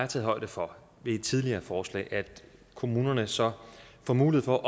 taget højde for ved et tidligere forslag at kommunerne så får mulighed for